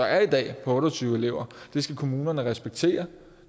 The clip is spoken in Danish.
er i dag på otte og tyve elever skal kommunerne respektere